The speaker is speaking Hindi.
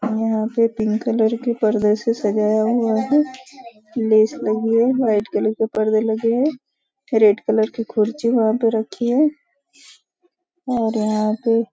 यहाँ पे पिंक कलर के पर्दे से सजाया हुआ है लगी है व्हाईट कलर के परदे लगे है रेड कलर की कुर्सी वहाँ पे रखी है और यहाँ पे --